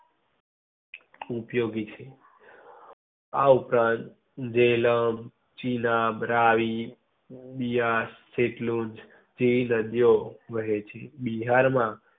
ઉપયોગી છે. આ ઉપરાંત જેલમ, ચિનાબ, રાવિ, બિયાર, ખેટલુંજ જેવી નદી ઓ વહે છે. બિહાર માં